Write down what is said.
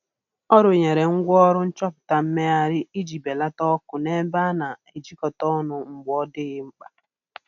Ọ rụnyere ngwaọrụ nchọpụta mmegharị iji belata ọkụ n'ebe a na-ejikọta ọnụ mgbe ọ dịghị mkpa